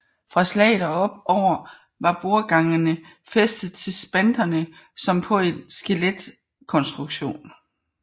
Fra slaget og opover var bordgangene fæstede til spanterne som på en skeletkonstruktion